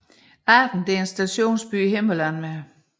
Arden er en stationsby i Himmerland med